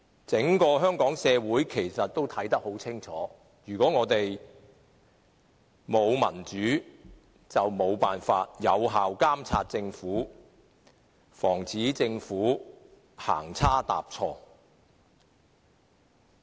整個香港社會也清楚看到，如果沒有民主，我們便沒有辦法有效監察政府，防止政府行差踏錯。